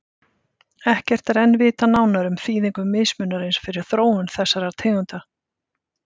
Ekkert er enn vitað nánar um þýðingu mismunarins fyrir þróun þessara tegunda.